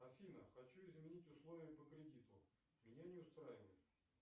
афина хочу изменить условия по кредиту меня не устраивает